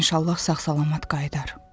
İnşallah sağ-salamat qayıdar.